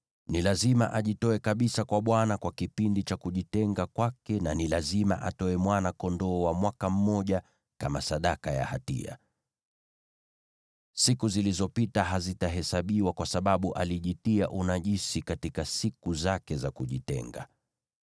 Ni lazima ajitoe kabisa kwa Bwana kwa kipindi cha kujitenga kwake, na ni lazima atoe mwana-kondoo wa mwaka mmoja kama sadaka ya hatia. Siku zilizopita hazitahesabiwa kwa sababu alijitia unajisi katika siku zake za kujitenga.